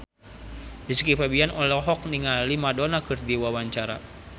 Rizky Febian olohok ningali Madonna keur diwawancara